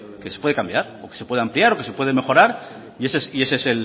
que se puede cambiar o que se puede ampliar o que se puede mejorar y ese es